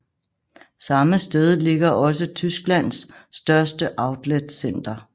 Samme sted ligger også Tysklands største outletcenter